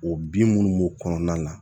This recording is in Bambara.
O bin minnu b'o kɔnɔna na